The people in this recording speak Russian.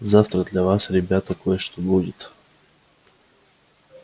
завтра для вас ребята кое-что будет